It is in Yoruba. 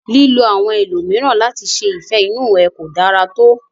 Lílo àwọn ẹlòmíràn láti ṣe ìfẹ inú ẹ ko dára to.